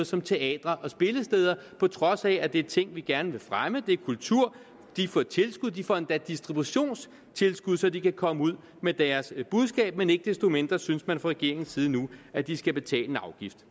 som teatre og spillesteder på trods af at det er ting vi gerne vil fremme det er kultur de får tilskud de får endda distributionstilskud så de kan komme ud med deres budskab men ikke desto mindre synes man fra regeringens side nu at de skal betale en afgift